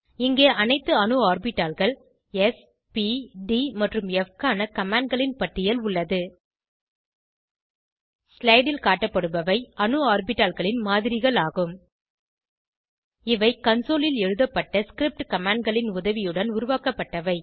இங்கே அனைத்து அணு ஆர்பிட்டால்கள் ஸ் ப் ட் மற்றும் ப் க்கான கமாண்ட் களின் பட்டியல் உள்ளது ஸ்லைடு ல் காட்டப்படுபவை அணு ஆர்பிட்டால்களின் மாதிரிகள் ஆகும் இவை கன்சோல் ல் எழுத்தப்பட்ட ஸ்கிரிப்ட் கமாண்ட் களின் உதவியுடன் உருவாக்கப்பட்டவை